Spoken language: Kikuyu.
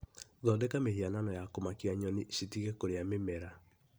Thondeka mĩhianano ya kũmakia nyoni citige kũrĩa mĩmera